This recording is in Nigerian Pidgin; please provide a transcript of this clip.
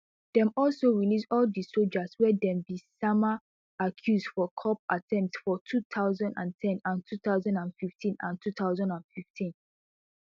dem also release all di sojas wey dem bin sama accuse for coup attempts for two thousand and ten and two thousand and fifteen and two thousand and fifteen